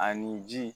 Ani ji